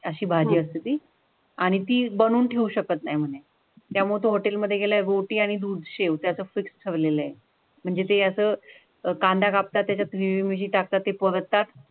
अशी भाजी असती ती आणि ती बनवून ठेवू शकत नाही. त्यामुळे हॉटेल मध्ये गेले बोटी आणि दूध शेव त्याचा फिक्स ठेवलेली आहे. म्हणजे असं अं कांदा कापला त्याच्यात म्हणजे टाकता ते पोहोचतात.